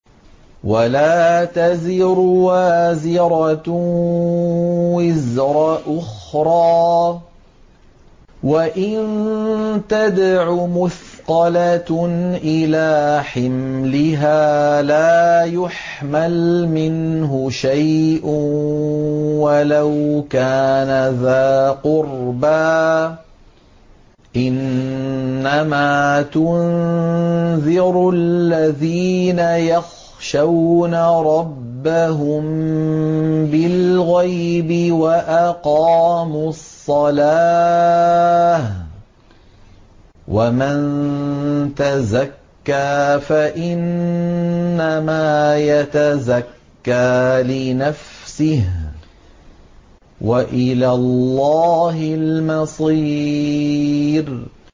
وَلَا تَزِرُ وَازِرَةٌ وِزْرَ أُخْرَىٰ ۚ وَإِن تَدْعُ مُثْقَلَةٌ إِلَىٰ حِمْلِهَا لَا يُحْمَلْ مِنْهُ شَيْءٌ وَلَوْ كَانَ ذَا قُرْبَىٰ ۗ إِنَّمَا تُنذِرُ الَّذِينَ يَخْشَوْنَ رَبَّهُم بِالْغَيْبِ وَأَقَامُوا الصَّلَاةَ ۚ وَمَن تَزَكَّىٰ فَإِنَّمَا يَتَزَكَّىٰ لِنَفْسِهِ ۚ وَإِلَى اللَّهِ الْمَصِيرُ